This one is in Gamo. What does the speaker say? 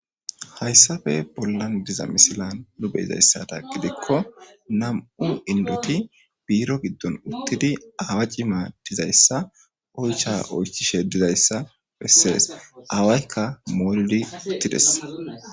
hayssafe bollan diza misilan lube izayssata gidikko nam7u indoti biiro giddon uttidi aawa cima dizayssa oycha oychishe dizayssa bessees aawaykka moolidi uttides